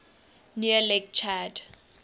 near lake chad